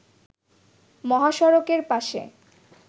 মহাসড়কের পাশে